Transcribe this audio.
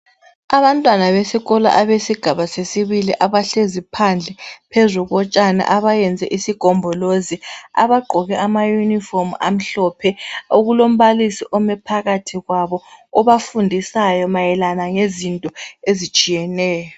Abantwana besikolo abesigaba sesibili abahlezi phandle, phezu kotshani abayenze isigombolozi abagqoke amaYunifomu amhlophe okulombalisi ome phakathi kwabo obafundisayo mayelana ngezinto ezitshiyeneyo.